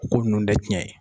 Ko ninnu tɛ tiɲɛ ye